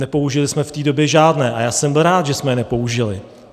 Nepoužili jsme v té době žádné a já jsem byl rád, že jsme je nepoužili.